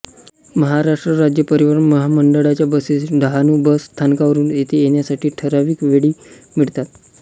महाराष्ट्र राज्य परिवहन महामंडळाच्या बसेस डहाणू बस स्थानकावरून येथे येण्यासाठी ठरावीक वेळी मिळतात